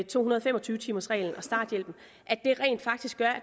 to hundrede og fem og tyve timers reglen og starthjælpen rent faktisk gør at